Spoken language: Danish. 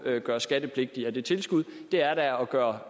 gøres skattepligtige af det tilskud det er da at gøre